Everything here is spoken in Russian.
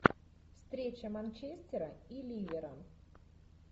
встреча манчестера и ливера